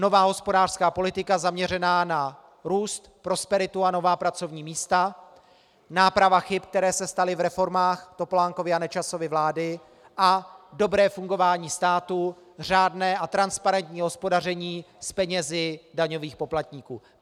Nová hospodářská politika zaměřená na růst, prosperitu a nová pracovní místa, náprava chyb, které se staly v reformách Topolánkovy a Nečasovy vlády, a dobré fungování státu, řádné a transparentní hospodaření s penězi daňových poplatníků.